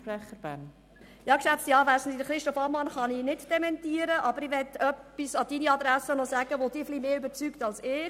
Das Zitat von Christoph Ammann kann ich nicht dementieren, aber ich möchte noch etwas an die Adresse von Grossrat Haassagen, das ihn sicher mehr überzeugt als mich.